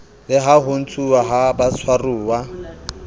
la ho ntshuwa ha batshwaruwa